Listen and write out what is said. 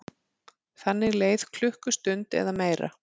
Þannig leið klukkustund eða meira.